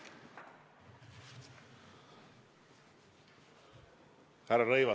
Härra Rõivas!